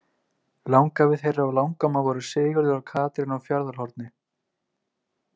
Langafi þeirra og langamma voru Sigurður og Katrín á Fjarðarhorni.